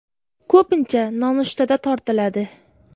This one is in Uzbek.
Ko‘pincha nonushtada tortiladi.